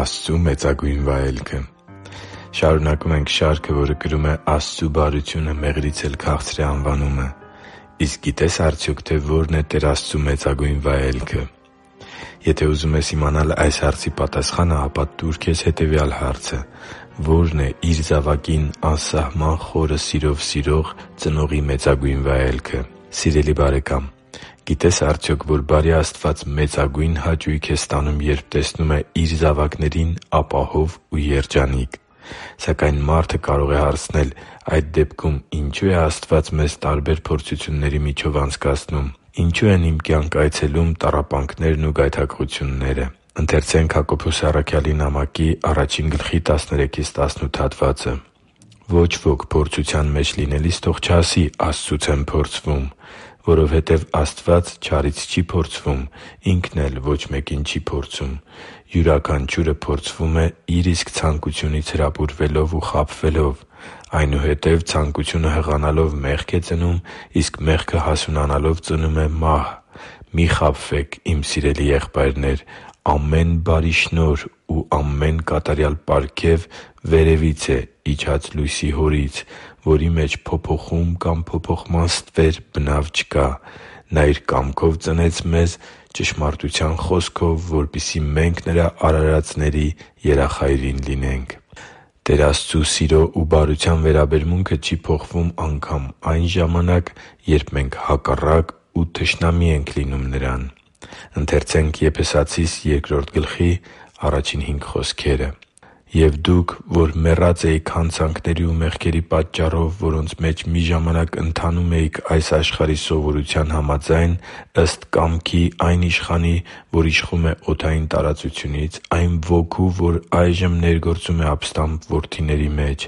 Աստծու մեծագույն վայելքը Շարունակում ենք շարքը, որը կրում է «Աստծու բարությունը մեղրից էլ քաղցր է» անվանումը։ Իսկ գիտե՞ս արդյոք, թե որն է Տեր Աստծու մեծագույն վայելքը։ Եթե ուզում ես իմանալ այս հարցի պատասխանը, ապա տո՛ւր քեզ հետևյալ հարցը․ «Ո՞րն է իր զավակին անսահման խորը սիրով սիրող ծնողի մեծագույն վայելքը»։ Սիրելի՛ բարեկամ, գիտե՞ս արդյոք, որ բարի Աստված մեծագույն հաճույք է ստանում, երբ տեսնում է Իր զավակներին ապահով ու երջանիկ։ Սակայն մարդը կարող է հարցնել․ «Այդ դեպքում ինչո՞ւ է Աստված մեզ տարբեր փորձությունների միջով անցկացնում։ Ինչո՞ւ են իմ կյանք այցելում տառապանքներն ու գայթակղությունները»։ «Ոչ ոք փորձության մեջ լինելիս թող չասի՝ «Աստծուց եմ փորձվում», որովհետև Աստված չարից չի փորձվում, Ինքն էլ ոչ մեկին չի փորձում։ Յուրաքանչյուրը փորձվում է՝ իր իսկ ցանկությունից հրապուրվելով ու խաբվելով։ Այնուհետև ցանկությունը հղանալով մեղք է ծնում, իսկ մեղքը հասունանալով ծնում է մահ։ Մի՛ խաբվեք, իմ սիրելի՛ եղբայրներ. ամեն բարի շնորհ և ամեն կատարյալ պարգև վերևից է՝ իջած լույսի Հորից, որի մեջ փոփոխում կամ փոփոխման ստվեր բնավ չկա։ Նա Իր կամքով ծնեց մեզ ճշմարտության խոսքով, որպեսզի մենք Նրա արարածների երախայրին լինենք» (Հակոբոս 1.13-18) Տեր Աստծու սիրո ու բարության վերաբերմունքը չի փոխվում անգամ այն ժամանակ, երբ մենք հակառակ ու թշնամի ենք լինում Նրան։ «Եվ դուք, որ մեռած էիք հանցանքների ու մեղքերի պատճառով, որոնց մեջ մի ժամանակ ընթանում էիք այս աշխարհի սովորության համաձայն՝ ըստ կամքի այն իշխանի, որ իշխում է օդային տարածությունից, այն ոգու, որ այժմ ներգործում է ապստամբ որդիների մեջ։